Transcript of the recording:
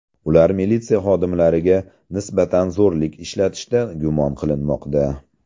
Ular militsiya xodimlariga nisbatan zo‘rlik ishlatishda gumon qilinmoqda.